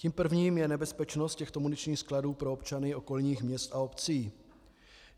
Tím prvním je nebezpečnost těchto muničních skladů pro občany okolních měst a obcí.